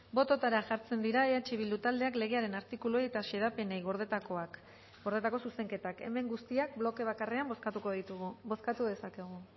bototara jartzen dira eh bildu taldeak legearen artikuluei eta xedapenei gordetako zuzenketak hemen guztiak bloke bakarrean bozkatuko ditugu bozkatu dezakegu